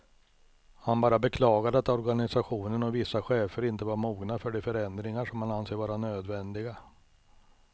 Han bara beklagade att organisationen och vissa chefer inte var mogna för de förändringar som han anser vara nödvändiga.